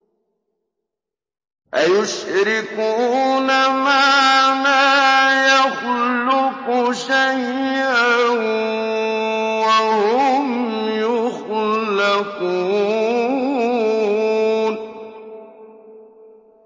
أَيُشْرِكُونَ مَا لَا يَخْلُقُ شَيْئًا وَهُمْ يُخْلَقُونَ